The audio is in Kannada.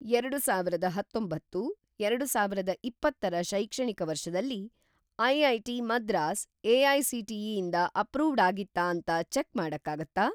ಎರಡುಸಾವಿರದ ಹತ್ತೊಂಭತ್ತು - ಎರಡುಸಾವಿರದ ಇಪ್ಪತ್ತರ ಶೈಕ್ಷಣಿಕ ವರ್ಷದಲ್ಲಿ, ಐ.ಐ.ಟಿ. ಮದ್ರಾಸ್ ಎ.ಐ.ಸಿ.ಟಿ.ಇ. ಇಂದ ಅಪ್ರೂವ್ಡ್‌ ಆಗಿತ್ತಾ ಅಂತ ಚೆಕ್‌ ಮಾಡಕ್ಕಾಗತ್ತಾ?